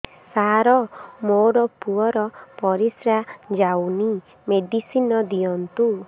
ସାର ମୋର ପୁଅର ପରିସ୍ରା ଯାଉନି ମେଡିସିନ ଦିଅନ୍ତୁ